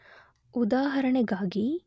ಉದಾಹರಣೆಗಾಗಿ